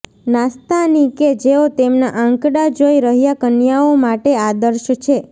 નાસ્તાની કે જેઓ તેમના આંકડા જોઈ રહ્યા કન્યાઓ માટે આદર્શ છે